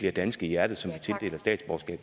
er danske i hjertet